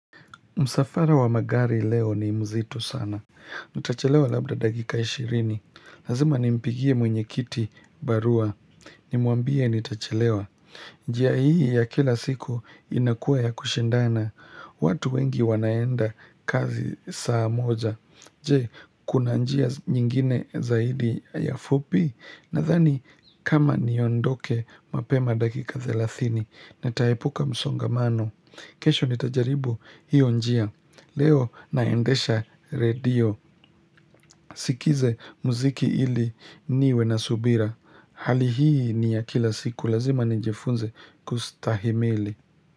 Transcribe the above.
Msafara wa magari leo ni mzito sana. Nitachelewa labda dakika ishirini. Lazima ni mpigie mwenyekiti barua. Nimuambie nitachelewa. Njia hii ya kila siku inakua ya kushindana. Watu wengi wanaenda kazi saa moja. Je, kuna njia nyingine zaidi ya fupi. Nadhani kama niondoke mapema dakika thelathini. Nataepuka msongamano. Kesho nitajaribu hiyo njia. Leo naendesha redio. Sikize muziki ili niwe na subira. Hali hii ni ya kila siku lazima nijifunze kustahimili.